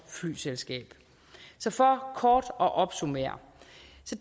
flyselskaber så for kort at opsummere